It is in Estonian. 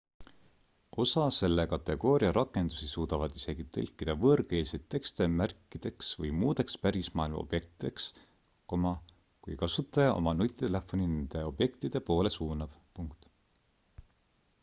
osa selle kategooria rakendusi suudavad isegi tõlkida võõrkeelseid tekste märkideks või muudeks pärismaailma objektideks kui kasutaja oma nutitelefoni nende objektide poole suunab